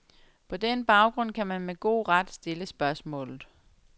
På den baggrund kan man med god ret stille spørgsmålet.